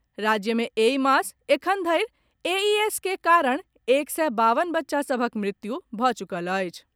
राज्य मे एहि मास एखनधरि एईएस के कारण एक सय बावन बच्चा सभक मृत्यु भऽ चुकल अछि।